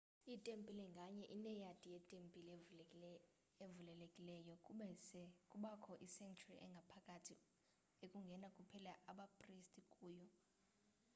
itempile nganye ineyadi yetembile evulelekileyo kube se kubakho isanctuary engaphakathi ekungena kuphela abapriste kuyo